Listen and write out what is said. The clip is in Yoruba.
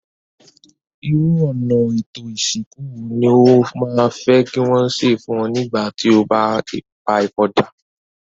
Irú ọ̀nà étò ìsìnkú wo ni o ma fe ki wón se fun o nígbà ti o ba pa ipòdà?